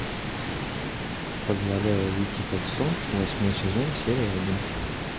позволяя уйти как сон восьмой сезон серия один